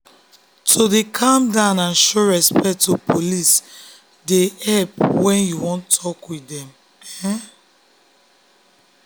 to dey calm and show respect to police dey help when you wan talk with dem.